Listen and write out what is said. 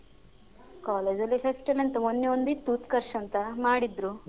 college ಅಲ್ಲಿ fest ಎಲ್ಲ ಎಂತ ಮೊನ್ನೆ ಒಂದ್ ಇತ್ತು ಉತ್ಕರ್ಷ್ ಅಂತ ಮಾಡಿದ್ರು